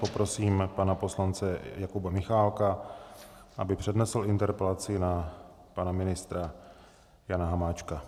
Poprosím pana poslance Jakuba Michálka, aby přednesl interpelaci na pana ministra Jana Hamáčka.